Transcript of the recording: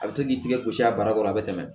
A bɛ to k'i tigɛ gosi a bara kɔrɔ a bɛ tɛmɛ